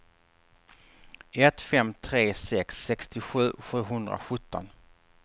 ett fem tre sex sextiosju sjuhundrasjutton